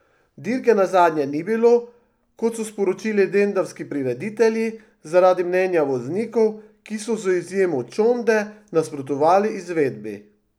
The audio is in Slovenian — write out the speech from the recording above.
Dirke nazadnje ni bilo, kot so sporočili lendavski prireditelji, zaradi mnenja voznikov, ki so z izjemo Čonde nasprotovali izvedbi.